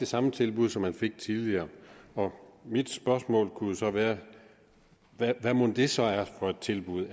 samme tilbud som man fik tidligere mit spørgsmål kunne så være hvad mon det så er for et tilbud